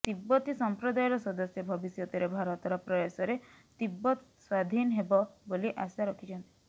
ତିବ୍ବତି ସଂପ୍ରଦାୟର ସଦସ୍ୟ ଭବିଷ୍ୟତରେ ଭାରତର ପ୍ରୟାସରେ ତିବ୍ବତ ସ୍ବାଧୀନ ହେବ ବୋଲି ଆଶା ରଖିଛନ୍ତି